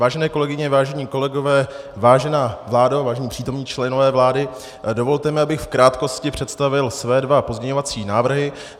Vážené kolegyně, vážení kolegové, vážená vládo, vážení přítomní členové vlády, dovolte mi, abych v krátkosti představil své dva pozměňovací návrhy.